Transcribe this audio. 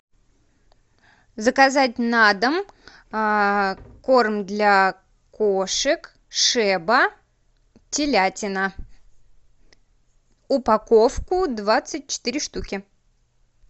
заказать на дом корм для кошек шеба телятина упаковку двадцать четыре штуки